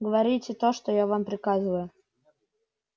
говорите то что я вам приказываю